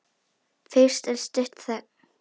Fyrst er stutt þögn.